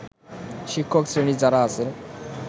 শিক্ষকশ্রেণীর যারা আছে